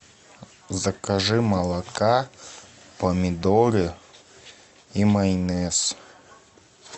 закажи молока помидоры и майонез